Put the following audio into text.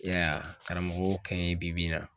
I y'a ye karamɔgɔ y'o kɛ n yen bi bi in na.